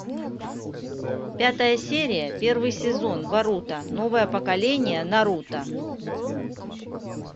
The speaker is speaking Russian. пятая серия первый сезон боруто новое поколение наруто